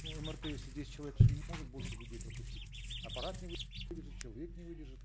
ну мрт если десять человек может больше людей пропустить аппарат не человек не выдержит